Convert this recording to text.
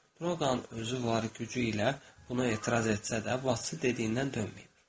Droqanın özü var gücü ilə buna etiraz etsə də, bacısı dediyindən dönməyib.